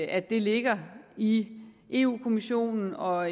at det ligger i europa kommissionen og